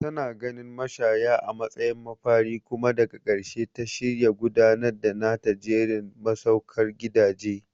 Tana ganin mashaya a matsayin mafari kuma daga ƙarshe ta shirya gudanar da nata jerin masaukan gidaje.